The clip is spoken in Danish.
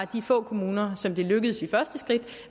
de få kommuner som det lykkedes